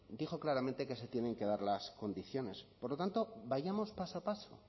dijo claramente que se tienen que dar las condiciones por lo tanto vayamos paso a paso